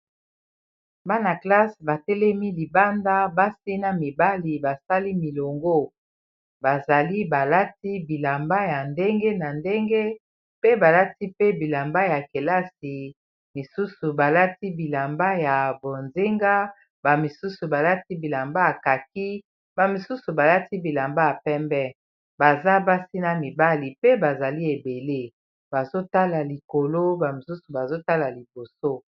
bana classe batelemi libanda basina mibali basali milongo bazali balati bilamba ya ndenge na ndenge pe balati pe bilamba ya kelasi misusu balati bilamba ya bozenga bamisusu balati bilamba ya kaki bamisusu balati bilamba ya pembe baza basina mibali pe bazali ebele bazotala likolo bamisusu bazotala liboso